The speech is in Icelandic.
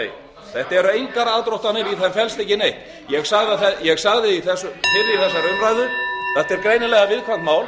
nei þetta eru engar aðdróttanir því að það felst ekki neitt ég sagði fyrr í þessari umræðu þetta er greinilega viðkvæmt mál